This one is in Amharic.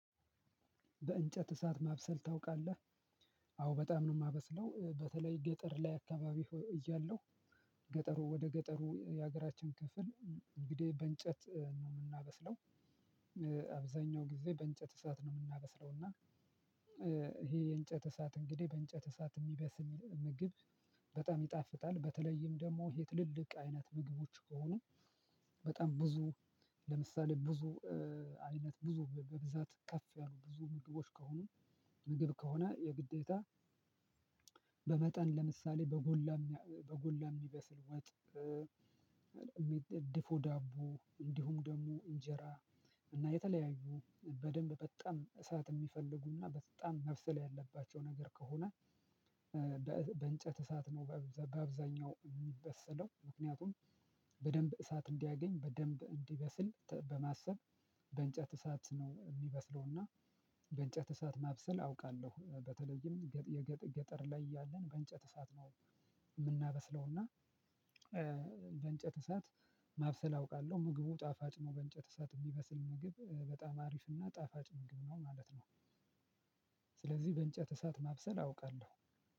በእንጨት እሳት ማብሰል ታውቃለህ አዎ በጣም ነው የማበስለው በተለይ ገጠር ላይ አካባቢ እያለሁ ገጠሩ ወደ ገጠሩ የሀገራችን ክፍል እንግዲህ በእንጨት ነው የምናበስለው። አብዛኛው ጊዜ በእንጨት እሳት ነው የምናበስለው እና ይሄ የእንጨት እሳት እንግዲህ በእንጨት እሳት የሚበስ ምግብ በጣም ይጣፍጣል። በተለይም ደግሞ የትልልቅ አይነት ምግቦች ከሆኑ በጣም ብዙ ለምሳሌ ብዙ አይነት ብዙ በብዛት ከፍ ያሉ ብዙ ምግቦች ከሆኑ ምግብ ከሆነ የግዴታ። በመጠን ለምሳሌ በጎላ በጎላ የሚበስል ወጥ። ድፎ ዳቦ እንዲሁም ደግሞ እንጀራ እና የተለያዩ በደንብ በጣም እሳት የሚፈልጉና በጣም መብሰል ያለባቸው ነገር ከሆነ። በእንጨት እሳት ነው በአብዛኛው የሚበሰለው ምክንያቱም በደንብ እሳት እንዲያገኝ በደንብ እንዲበስል በማሰብ በእንጨት እሳት ነው የሚበስለውና። በእንጨት እሳት ማብሰል አውቃለሁ በተለይም የገጠር ላይ ያለን በእንጨት እሳት ነው። የምናበስለውና በእንጨት እሳት ማብሰል አውቃለሁ ምግቡ ጣፋጭ ነው በእንጨት እሳት የሚበስል ምግብ በጣም አሪፍና ጣፋጭ ምግብ ነው ማለት ነው። ስለዚህ በእንጨት እሳት ማብሰል አውቃለሁ።